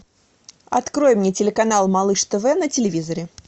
открой мне телеканал малыш тв на телевизоре